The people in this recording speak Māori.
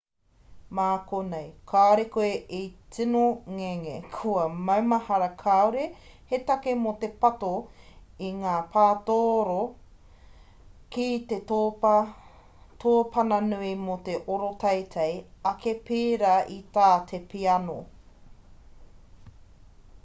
mā konei kāore koe e tino ngenge kia maumahara kāore he take mō te pato i ngā patooro ki te tōpana nui mō te oro teitei ake pērā i tā te piano